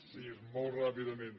sí molt ràpidament